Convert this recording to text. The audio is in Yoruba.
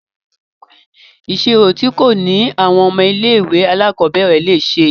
Ìṣirò tí kò le ní àwọn ọmọ ilé ìwé alákọ̀berẹ̀ le ṣe.